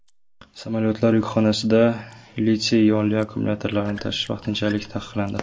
Samolyotlar yukxonasida litiy-ionli akkumulyatorlarni tashish vaqtinchalik taqiqlandi.